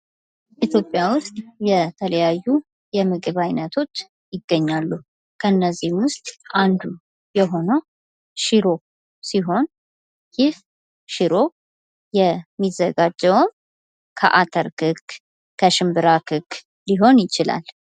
ኢትዮጵያ ውስጥ የተለያዩ የምግብ አይነቶች ይገኛሉ። ከነዚህም ውስጥ አንዱ የሆነው ሽሮ ሲሆን ይህ ሽሮ የሚዘጋጀውም ከአተር ክክ፣ ከሽንብራ ክክ ሊሆን ይችላል ።